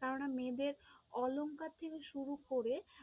কেননা মেয়েদের অলংকার থেকে শুরু করে